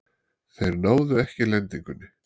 Þeir náðu ekki lendingunni.